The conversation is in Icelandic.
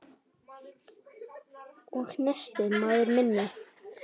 Og nestið, maður minn!